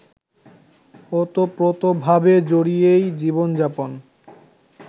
ওতপ্রোতভাবে জড়িয়েই জীবনযাপন